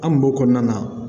An kun b'o kɔnɔna na